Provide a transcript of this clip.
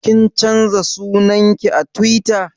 Kin canza sunan ki a Tiwita?